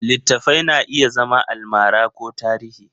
Littattafai na iya zama almara ko tarihi.